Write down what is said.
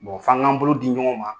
f'an k'an bolo di ɲɔgɔn ma.